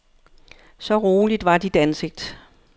Så roligt var dit ansigt.